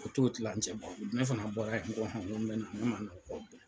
o t'o kilancɛ bɔ ne fana bɔra yen n ko n bɛ na ne ma n'o kɔ.